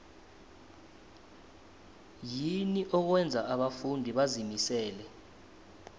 yini okwenza abafundi bazimisele